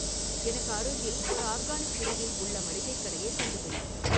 எனக்கு அருகில் ஒரு ஆர்கானிக் பிரிவில் உள்ள மளிகைக் கடையைக் கண்டுபிடி